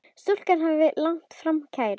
Stúlkan hafði lagt fram kæru.